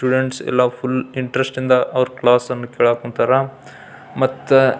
''students ಎಲ್ಲ full interest ಇಂದ ಅವ್ರ್ ಕ್ಲಾಸ್ ಅನ್ನ ಕೇಳಾಕ್ ಕುಂತಾರ ಮತ್ತ--''